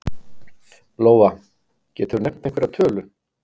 Lóa: Geturðu nefnt einhverja tölu?